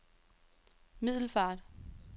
Middelfart